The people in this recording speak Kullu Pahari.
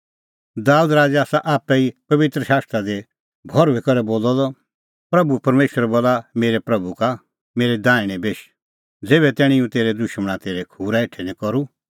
दाबेद राज़ै आसा आप्पै ई पबित्र आत्मां दी भर्हुई करै बोलअ प्रभू परमेशरै बोलअ मेरै प्रभू का मेरी दैहणै बेश ज़ेभै तैणीं हुंह तेरै दुशमणा तेरै खूरा हेठै निं करूं